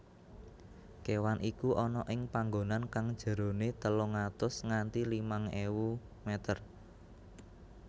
kewan iku ana ing panggonan kang jerone telung atus nganti limang ewu meter